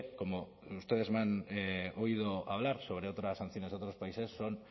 como ustedes me han oído hablar sobre otras sanciones a otros países son